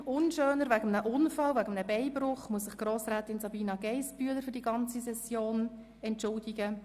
Aus einem etwas unschönen Grund, nämlich wegen eines Beinbruchs, muss sich Grossrätin Sabina Geissbühler für die ganze Session entschuldigen.